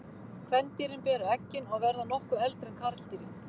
Kvendýrin bera eggin og verða nokkuð eldri en karldýrin.